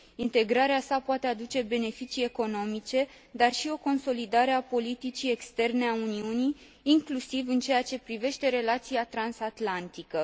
Integrarea sa poate aduce beneficii economice, dar și o consolidare a politicii externe a Uniunii, inclusiv în ceea ce privește relația transatlantică.